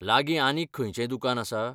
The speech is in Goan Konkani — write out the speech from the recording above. लागीं आनीक खंयचेंय दुकान आसा?